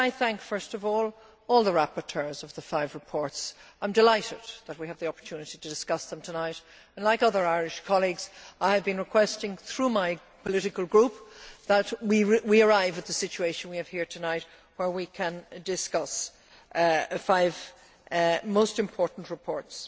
Could I thank, first of all, all the rapporteurs of the five reports. I am delighted that we have the opportunity to discuss them and, like other Irish colleagues, I have been requesting, through my political group, that we arrive at the situation we have here tonight where we can discuss five most important reports.